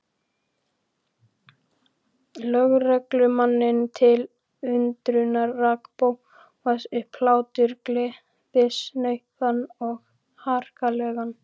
Lögreglumanninum til undrunar rak Bóas upp hlátur, gleðisnauðan og harkalegan.